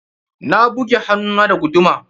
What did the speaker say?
Na buge hannun na da guduma.